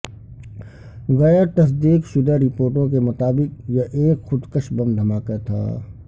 غیر تصدیق شدہ رپورٹوں کے مطابق یہ ایک خودکش بم دھماکہ تھا